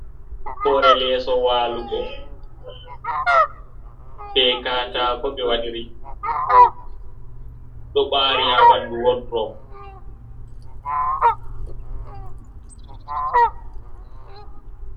Hore leeso waalugo. Be katako ɓe waɗiri. Ɗo ɓari ha ɓandu wodrob.